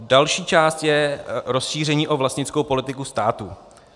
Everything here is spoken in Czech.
Další část je rozšíření o vlastnickou politiku státu.